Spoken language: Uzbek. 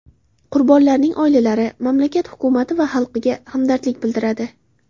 Qurbonlarning oilalari, mamlakat hukumati va xalqiga hamdardlik bildiradi.